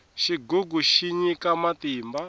xigugu xi nyika matimba